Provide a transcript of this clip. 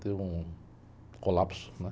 Teve um colapso, né?